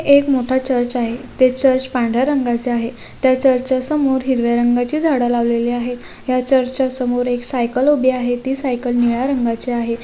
एक मोटा चर्च आहे. ते चर्च पांढऱ्या रंगाचे आहे ते चर्च च्या समोर हिरव्या रंगाचे झाडे लावलेले आहे या चर्च चा सोमर एक साइकल लागलेली आहे ती सायकल निळ्या रंगाची आहे.